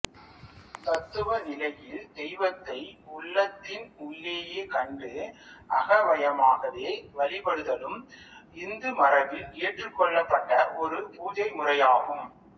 தத்துவ நிலையில் தெய்வத்தை உள்ளத்தின் உள்ளேயே கண்டு அகவயமாகவே வழிபடுதலும் இந்து மரபில் ஏற்றுக் கொள்ளப்பட்ட ஒரு பூசை முறையாகும்